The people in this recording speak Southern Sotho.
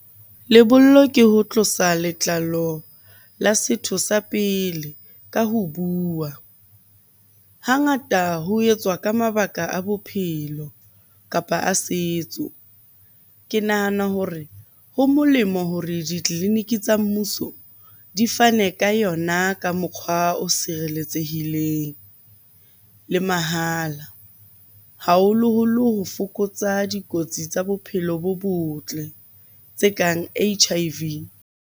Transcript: Lebollo ke ho tlosa letlalo la setho sa pele ka ho bua. Hangata ho etswa ka mabaka a bophelo, kapa a setso. Ke nahana hore ho molemo hore ditleliniki tsa mmuso di fane ka yona ka mokgwa o sireletsehileng le mahala. Haholoholo ho fokotsa dikotsi tsa bophelo bo botle tse kang H_I_V.